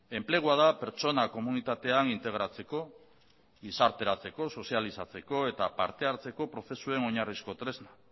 enplegua da pertsona komunitatean integratzeko gizarteratzeko sozializatzeko eta parte hartzeko prozesuen oinarrizko tresna